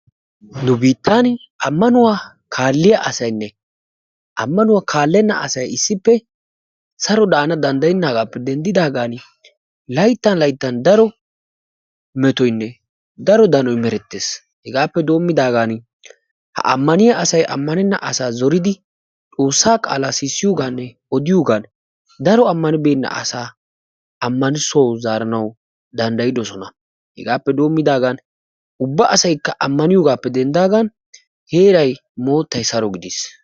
Nu biittan ammanuwa kaalliya asaynne kaallenna asay issippe saro daanawu danddayennaagaappe denddidaagan layttan layttan daro metoynne daro danoy merettees. Hegaappe soommidaagan ha Ammaniya asay ammanenna asaa zoridi xoossaa qaalaa odiyogaaninne sissiyogan daro ammanibeenna asaa ammanissuwawu zaaridosona. Hegaappe doommidaagan ubba asaykka ammaniyogaappe denddaagan heeray moottay saro gidiis.